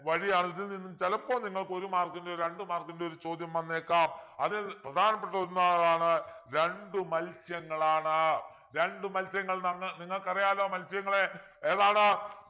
വഴിയാണ് ഇതിൽനിന്നും ചിലപ്പോ നിങ്ങൾക്ക് ഒരു mark ൻ്റെയോ രണ്ടു mark ൻ്റെയോ ഒരു ചോദ്യം വന്നേക്കാം അത് പ്രധാനപ്പെട്ട ഒന്ന് ഏതാണ് രണ്ടു മത്സ്യങ്ങളാണ് രണ്ടു മൽസ്യങ്ങൾ ന നിങ്ങൾക്കറിയാലോ മത്സ്യങ്ങളെ ഏതാണ്